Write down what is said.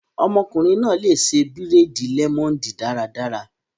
Ọkùnrin náà lè ṣe bírèèdì lẹmọneedi daradara